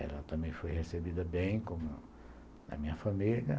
Ela também foi recebida bem, como a minha família.